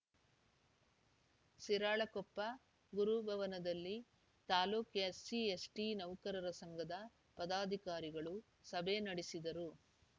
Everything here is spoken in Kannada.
ಶಿರಾಳಕೊಪ್ಪ ಗುರು ಭವನದಲ್ಲಿ ತಾಲೂಕು ಎಸ್‌ಸಿ ಎಸ್‌ಟಿ ನೌಕರರ ಸಂಘದ ಪದಾಧಿಕಾರಿಗಳು ಸಭೆ ನಡೆಸಿದರು